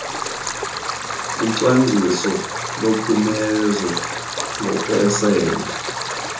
kocwangciso lophumezo ngokwesebe